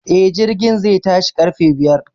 E,Jirgin zai tashi ƙarfe biyar.